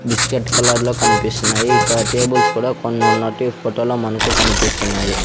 Biscuit colour లో కనిపిస్తున్నాయి ఇక్కడ టేబుల్స్ కూడా కొన్ని ఉన్నట్టు ఈ ఫోటోలో మనకు కనిపిస్తున్నాయి.